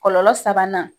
Kɔlɔlɔ sabanan